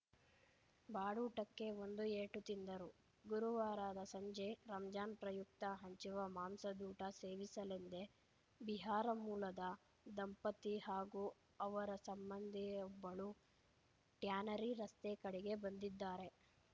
ಬಾಡೂಟಕ್ಕೆ ಬಂದು ಏಟು ತಿಂದರು ಗುರುವಾರದ ಸಂಜೆ ರಂಜಾನ್‌ ಪ್ರಯುಕ್ತ ಹಂಚುವ ಮಾಂಸದೂಟ ಸೇವಿಸಲೆಂದೇ ಬಿಹಾರ ಮೂಲದ ದಂಪತಿ ಹಾಗೂ ಅವರ ಸಂಬಂಧಿಯೊಬ್ಬಳು ಟ್ಯಾನರಿ ರಸ್ತೆ ಕಡೆ ಬಂದಿದ್ದಾರೆ